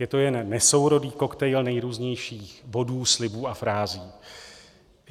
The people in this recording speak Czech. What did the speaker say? Je to jen nesourodý koktejl nejrůznějších bodů, slibů a frází.